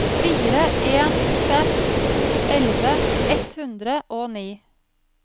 fire en fem to elleve ett hundre og ni